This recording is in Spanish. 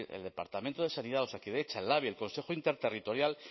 decir el departamento de salud osakidetza el labi el consejo interterritorial